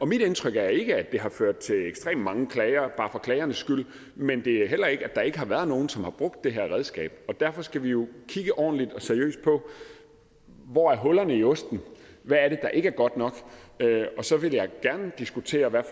mit indtryk er ikke at det har ført til ekstremt mange klager bare for klagernes skyld men det er heller ikke at der ikke har været nogen som har brugt det her redskab derfor skal vi jo kigge ordentligt og seriøst på hvor hullerne er i osten og hvad det er der ikke er godt nok og så vil jeg gerne diskutere hvad